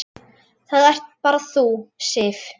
Það ert bara þú, Sif.